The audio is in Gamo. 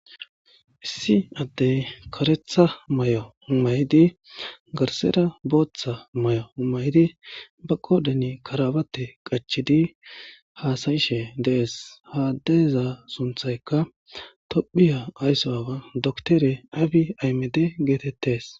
Issi addey karetha may7o maydi garsera booththa may7o may7di ba qodani karabate qachidi haasayishe dees haadeeza sunthaykka tophiya ayssoawa doktere aabi aymede geetettes.